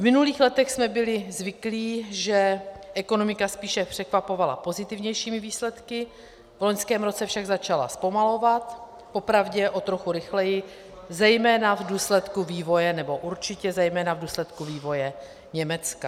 V minulých letech jsme byli zvyklí, že ekonomika spíše překvapovala pozitivnějšími výsledky, v loňském roce však začala zpomalovat, popravdě o trochu rychleji, zejména v důsledku vývoje, nebo určitě zejména v důsledku vývoje Německa.